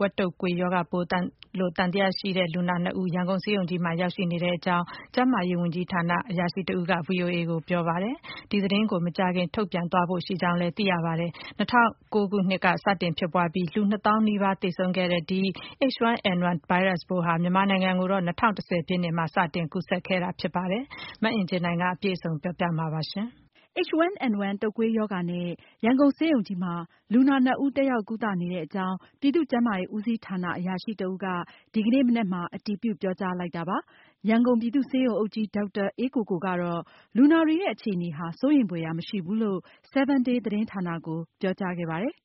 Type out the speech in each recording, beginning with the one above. ဝက် တုပ်ကွေး ရောဂါပိုးသံသယရှိတဲ့ လူနာနှစ်ဦး ရန်ကုန်ဆေးရုံကြီးမှာ ရောက်ရှိနေကြောင်း ပြည်သူ့ ကျန်းမာရေး ဦးစီးဌာန အရာရှိက ဗွီအိုအေကို အတည်ပြု ပြောဆိုပါတယ်။ ဒီကိစ္စနဲ့ ပတ်သက်လို့ သက်ဆိုင်ရာ ကျန်းမာရေးဌာနကနေ မကြာခင်မှာ တရားဝင်ထုတ်ပြန်မယ်လို့ ဆိုပါတယ်။ ၂၀၀၉ ခုနှစ်မှာ စတင် ဖြစ်ပွားပြီး လူပေါင်း ၂ သောင်းနီးပါး သေဆုံးခဲ့ရတဲ့ ဒီ H1N1 ဗိုင်းရပ်စ်ပိုးဟာ မြန်မာနိုင်ငံမှာ ၂၀၁၀ ပြည့်နှစ်မှာ စတင် ကူးစက်ခဲ့တာ ဖြစ်ပါတယ်။ အပြည့်အစုံကိုတော့ မအင်ကြင်းနိုင်က တင်ပြပေးပါမယ်။ H1N1 တုပ်ကွေးရောဂါနဲ့ ရန်ကုန်ဆေးရုံကြီးမှာ လူနာ ၂ ဦး တက်ရောက်ကုသနေတဲ့အကြောင်း ပြည်သူ့ ကျန်းမာရေး ဦးစီးဌာန အရာရှိတဦးက ဒီကနေ့ မနက်မှာ အတည်ပြုပြောကြားလိုက်တာဖြစ်ပါတယ်။ ရန်ကုန်ပြည်သူ့ဆေးရုံအုပ်ကြီး ဒေါက်တာအေးကိုကိုကတော့ လူနာတွေရဲ့ အခြေအနေဟာ စိုးရိမ်ဖွယ်ရာ မရှိဘူးလို့ 7Day သတင်းဌာနကို ပြောကြားခဲ့ပါတယ်။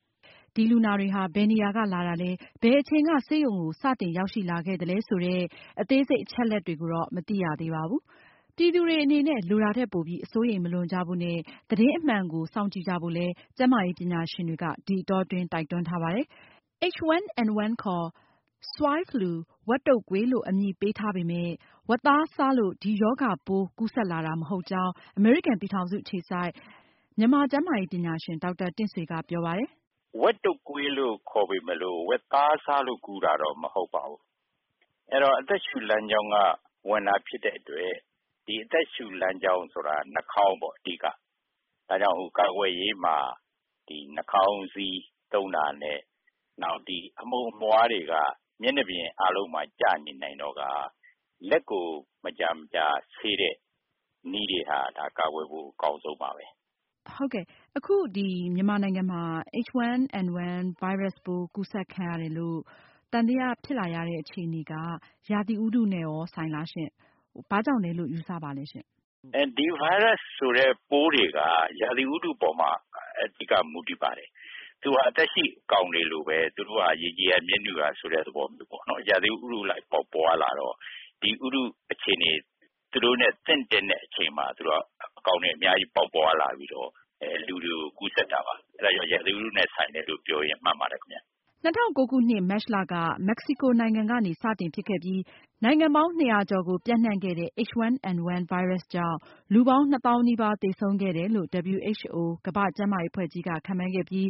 ဒီလူနာတွေဟာ ဘယ်နေရာက လာတာလဲ၊ ဘယ်အချိန်က ဆေးရုံစတင်ရောက်ရှိခဲ့သလဲ စတဲ့ အသေးစိတ်အချက်အလက်တွေကိုတော့ မသိရသေးပါဘူး။ ပြည်သူတွေအနေနဲ့ လိုတာထက်ပိုပြီး အစိုးရိမ်မလွန်ကြဖို့နဲ့ သတင်းအမှန်ကို စောင့်ကြည့်ကြဖို့ ကျန်းမာရေးပညာရှင်တွေက တိုက်တွန်းထားပါတယ်။ H1N1 ဗိုင်းရပ်စ်ပိုးကို ဝက်တွေမှာ အရင်ဆုံးစတင်တွေ့ရှိခဲ့တာကြောင့် Swine flu ဝက် တုပ်ကွေးလို့ အမည်ပေးထားပေမယ့် ဝက်သားစားလို့ ဒီရောဂါပိုးကူးစက်လာတာ မဟုတ်ကြောင်း အမေရိကန်ပြည်ထောင်စုအခြေစိုက် မြန်မာကျန်းမာရေးပညာရှင် ဒေါက်တာ တင့်ဆွေကပြောပါတယ်။ “ဝက်တုပ်ကွေးလို့ ဆိုပေမယ့်လို့ ဝက်သားစားလို့တော့ ကူးတာတော့မဟုတ်ဘူး။ အဲဒီတော့ အသက်ရှုလမ်းကြောင်းကဝင်တာဖြစ်တဲ့အတွက် ဒီ အသက်ရှုလမ်းကြောင်းက နှာခေါင်းက အဓိက ၊ ဒါကြောင့် ကာကွယ်ရေးမှာ ဒီနှာခေါင်းစည်းသုံးတာ နဲ့ အမှုန်အမွားတွေနဲ့ မျက်နှာပြင်အားလုံးမှာ ကျနေနိုင်တော့ လက်ကို မကြာမကြာဆေးတဲ့ဟာတွေက ဒါတွေက ကာကွယ်ဖို့ အကောင်းဆုံးပါပဲ။ မေး။ ။ အခု မြန်မာနိုင်ငံမှာ H1N1 ဗိုင်းရပ်စ်ပိုးကူးစက်ခံရတယ်လို့ သံသယဖြစ်လာရတဲ့ အခြေအနေက ရာသီဥတုနဲ့ဆိုင်လား။ ဘာကြောင့်လဲလို့ ယူဆပါသလဲရှင့်။ ဖြေ။ ။ ဒီဗိုင်းရပ်စ်ဆိုတဲ့ ပိုးတွေက ရာသီဥတုအပေါ်မှာအဓိက မူတည်ပါတယ်။ သူက သက်ရှိအကောင်တွေလိုပဲ ရေကြည်ရာ မြက်နုရာ သဘောမျိုးပေါ့နော် ရာသီဥတုအလိုက်ပေါက်ပွားလာတော့ ဒီဥတုအခြေအနေ၊ သူတို့နဲ့ သင့်တင့်တဲ့ အချိန်မှာ အကောင်တွေအများကြီးပေါက်ပွားလာပြီးတော့ လူတွေကိုကူးစက်တာပါ။ အဲဒါကြောင့် ရာသီဥတုနဲ့ ဆိုင်တယ်လို့ ပြောရင် မှန်ပါတယ်ခင်ဗျ။” ၂၀၀၉ခုနှစ် မတ်လ က မက္ကဆီကိုနိုင်ငံကနေ စတင်ဖြစ်ခဲ့ပြီး နိုင်ငံပေါင်း ၂၀၀ ကျော်ကို ပျံနှံခဲ့တဲ့H1N1 တုပ်ကွေးဗိုင်းရပ်စ်ကြောင့် လူပေါင်း နှစ်သောင်းနီးပါး သေဆုံးခဲ့တယ်လို့ WHO ကမ္ဘာ့ကျန်းမာရေးအဖွဲ့ကြီးက ခန့်မှန်းခဲ့ပြီး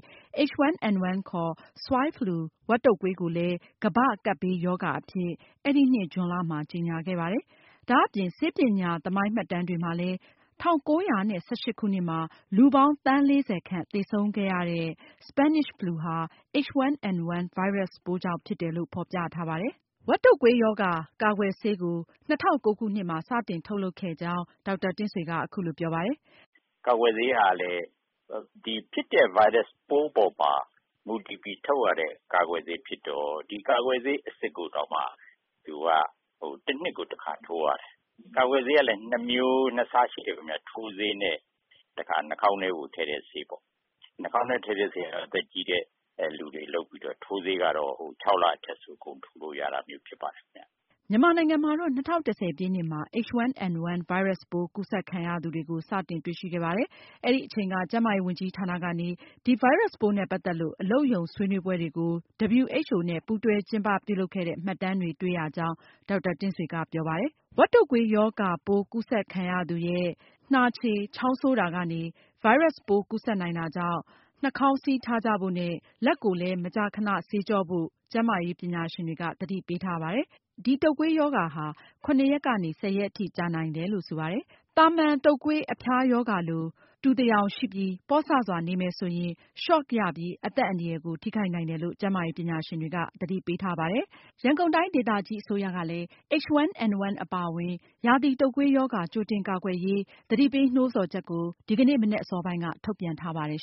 H1N1 ခေါ် Swine flu ဝက် တုပ်ကွေးကိုလည်း ကမ္ဘာ့ကပ်ဘေးရောဂါအဖြစ် အဲဒီနှစ် ဇွန်လ မှာ ကြေညာခဲ့ပါတယ်။ ဒါအပြင် ဆေး ပညာ သမိုင်းမှတ်တမ်းတွေမှာလည်း ၁၉၁၈ခုနှစ်မှာ လူပေါင်း သန်း ၄၀ ခန့် သေဆုံးခဲ့ရတဲ့ Spanish flu ဟာ H1N1 ဗိုင်းရပ်စ်ပိုးကြောင့်ဖြစ်တယ်လို့ ဖေါ်ပြထားပါတယ်။ ဝက်တုပ်ကွေးရောဂါ ကာကွယ်ဆေးကို၂၀၀၉ ခုနှစ်မှာ စတင်ထုတ်လုပ်ခဲ့ကြောင်း ဒေါက်တာတင့်ဆွေက အခုလိုပြောပါတယ်။ “ကာကွယ်ဆေးကလည်း ဒီဖြစ်တဲ့ ဗိုင်းရပ်စ်ပိုးပေါ်မှာ မူတည်ပြီးထုတ်ရတဲ့ ကာကွယ်ဆေးဖြစ်တော့ ဒီကာကွယ်ဆေးအစစ်ကိုတောင်မှ သူက ၁ နှစ်ကို ၁ ခါထိုးရတယ်။ ကာကွယ်ဆေးကလည်း ၂ မျိုး ၂ စားရှိတယ်ခင်ဗျ ၊ ထိုးဆေးနဲ့ နှာခေါင်းထဲကို ထည့်တဲ့ဆေးပေါ့။ နှာခေါင်းထဲထည့်တဲ့ဆေးက အသက်ကြီးတဲ့လူတွေလုပ်ပြီးတော့ ထိုးဆေးကတော့ ၆ လအထက်ဆိုရင် အကုန်ထိုးလို့ရတာမျိုး ဖြစ်ပါတယ်ခင်ဗျ။” မြန်မာနိုင်ငံမှာတော့ ၂၀၁၀ ပြည့်နှစ်မှာ H1N1 ဗိုင်းရပ်စ်ပိုးကူးစက်ခံရသူတွေ စတင်တွေ့ရှိခဲ့ပါတယ်။ အဲဒီအချိန်က ကျန်းမာရေးဝန်ကြီးဌာနကနေ ဒီဗိုင်းရပ်စ်ပိုးနဲ့ ပတ်သက်လို့ အလုပ်ရုံဆွေးနွေးပွဲတွေကို WHO နဲ့ ပူးတွဲကျင်းပပြုလုပ်ခဲ့တဲ့ မှတ်တမ်းတွေ တွေ့ရကြောင်း ဒေါက်တာတင့်ဆွေကပြောပါတယ်။ ဝက်တုပ်ကွေးရောဂါပိုး ကူးစက်ခံရသူရဲ့ နှာချေ၊ ချောင်းဆိုးတာကနေ ဗိုင်းရပ်စ်ပိုး ကူးစက်နိုင်တာကြောင့် နှာခေါင်းစည်းထားကြဖို့နဲ့ လက်ကို မကြာခဏဆေးကြောဖို့လည်း ကျန်းမာရေးပညာရှင်တွေက သတိပေးထားပါတယ်။ ဒီတုပ်ကွေးရောဂါဟာ ၇ ရက်နေက ၁၀ ရက်အထိကြာနိုင်တယ်လို့ ဆိုပါတယ်။သာမန်တုပ်ကွေးအဖျားရောဂါလိုပဲ နှာချေ၊ ချောင်းဆိုး၊ ခေါင်းကိုက်၊ ကိုယ်ပူပြီး အန်တာ၊ ဗိုက်နာတာ စတာမျိုး တူသယောင်ရှိပြီး ပေါ့ဆစွာနေမယ်ဆိုရင် Shock ရပြီး အသက်အန္တရာယ်ကို ထိခိုက်နိုင်တယ်လို့ ကျန်းမာရေးပညာရှင်တွေက သတိပေးထားပါတယ်။ ရန်ကုန်တိုင်းဒေသကြီးအစိုးရကလည်း H1N1 အပါအဝင် ရာသီတုပ်ကွေးရောဂါ ကြိုတင်ကာကွယ်ရေး သတိပေးနှိုးဆော်ချက်ကို ဒီကနေ့ မနက်အစောပိုင်းက ထုတ်ပြန်ထားပါတယ်